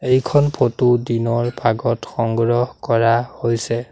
এইখন ফটো দিনৰ ভাগত সংগ্ৰহ কৰা হৈছে।